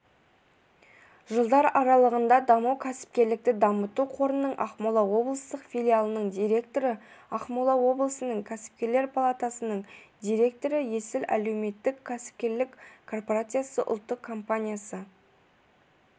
жылдар аралығында даму кәсіпкерлікті дамыту қорының ақмола облыстық филиалының директоры ақмола облысының кәсіпкерлер палатасының директоры есіл әлеуметтік-кәсіпкерлік корпорациясы ұлттық компаниясы